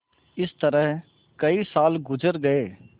इस तरह कई साल गुजर गये